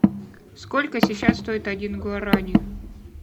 сколько сейчас стоит один гуарани